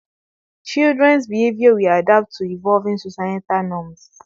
Children's behavior will adapt to evolving societal norms